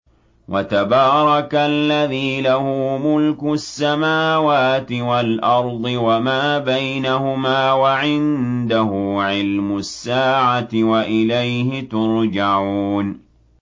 وَتَبَارَكَ الَّذِي لَهُ مُلْكُ السَّمَاوَاتِ وَالْأَرْضِ وَمَا بَيْنَهُمَا وَعِندَهُ عِلْمُ السَّاعَةِ وَإِلَيْهِ تُرْجَعُونَ